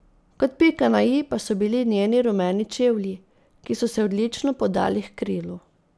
Kot pika na i pa so bili njeni rumeni čevlji, ki so se odlično podali h krilu.